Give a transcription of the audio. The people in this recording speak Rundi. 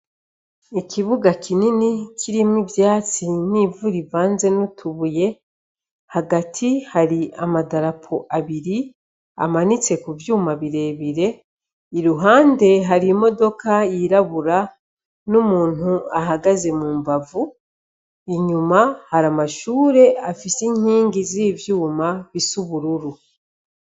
Ikibuga kinini kirimwo ivyatsi n'ivu rivanze n'utubuye, hagati hari amadarapo abiri, amanitse ku vyuma burebire, iruhande hari imodoka yirabura, n'umuntu ahagaze mu mbavu. Inyuma, hari amashure afise inkingi z'ivyuma bisa ubururu.